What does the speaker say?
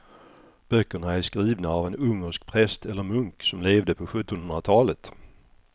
Böckerna är skrivna av en ungersk präst eller munk som levde på sjuttonhundratalet.